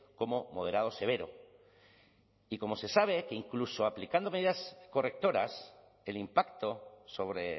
como moderado severo y como se sabe que incluso aplicando medidas correctoras el impacto sobre